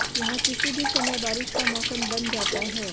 यहां किसी भी समय बारिश का मौसम बन जाता है